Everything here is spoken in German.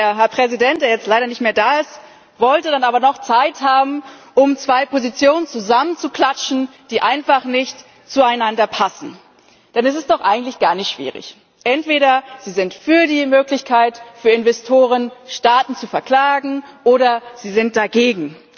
Der Herr Präsident, der jetzt leider nicht mehr da ist, wollte dann aber noch Zeit haben, um zwei Positionen zusammenzuklatschen, die einfach nicht zueinander passen. Denn es ist doch eigentlich gar nicht schwierig Entweder Sie sind für die Möglichkeit für Investoren, Staaten zu verklagen, oder Sie sind dagegen.